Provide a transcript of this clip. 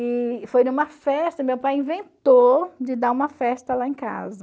E foi numa festa, meu pai inventou de dar uma festa lá em casa.